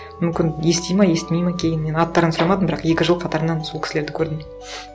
мүмкін естиді ме естімейді ме кейіннен аттарын сұрамадым бірақ екі жыл қатарынан сол кісілерді көрдім